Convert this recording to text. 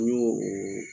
N y'o o